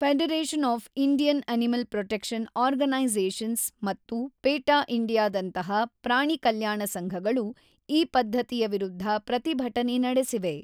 Federation of Indian animal protection organisations ಮತ್ತು PETA ಇಂಡಿಯಾದಂತಹ ಪ್ರಾಣಿ ಕಲ್ಯಾಣ ಸಂಘಗಳು ಈ ಪದ್ಧತಿಯ ವಿರುದ್ಧ ಪ್ರತಿಭಟನೆ ನಡೆಸಿವೆ.